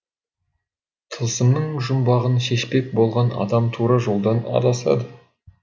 тылсымның жұмбағын шешпек болған адам тура жолдан адасады